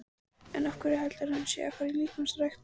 Af hverju heldurðu að hann sé að fara í líkamsrækt?